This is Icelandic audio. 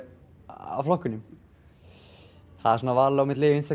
af flokkunum það er svona val á milli Vinstri